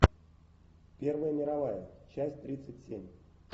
первая мировая часть тридцать семь